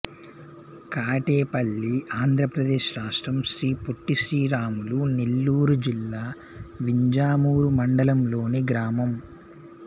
కాటేపల్లి ఆంధ్ర ప్రదేశ్ రాష్ట్రం శ్రీ పొట్టి శ్రీరాములు నెల్లూరు జిల్లా వింజమూరు మండలం లోని గ్రామం